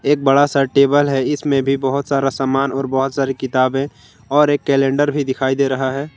एक बड़ा सा टेबल है इसमें भी बहोत सारा सामान और बहुत सारी किताबें और एक कैलेंडर भी दिखाई दे रहा है।